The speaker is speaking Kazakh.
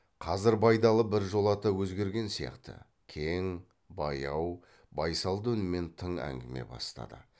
қазір байдалы біржолата өзгерген сияқты кең баяу байсалды үнмен тың әңгіме бастады